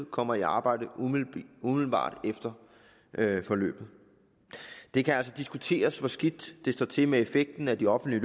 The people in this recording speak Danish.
kommer i arbejde umiddelbart efter forløbet det kan altså diskuteres hvor skidt det står til med effekten af de offentlige